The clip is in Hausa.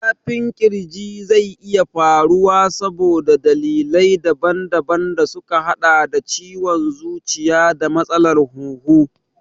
Zafin ƙirji zai iya faruwa saboda dalilai daban daban da suka haɗa da ciwon zuciya da matsalar hunhu.